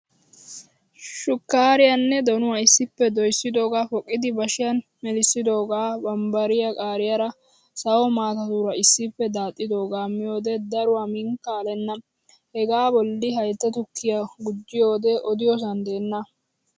Shukkaariyaanne donuwa issippe doyssidoogaa poqqidi bashiyan melisidoogaa bambbariya qaariyaara sawo maatatuura issippe daaxxidoogaa miyoodee daruwaa miinikka alenna. Hegaa bolli haytta tukkiyaa gujjiyoodee odiyoosan deenna!